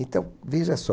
Então, veja só.